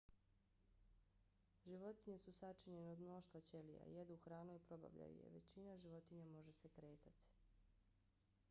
životinje su sačinjene od mnoštva ćelija. jedu hranu i probavljaju je. većina životinja može se kretati